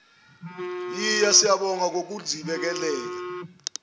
hhiya siyabonga ngokusigibelisa